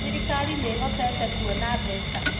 Thirikari nĩĩhotete kuona mbeca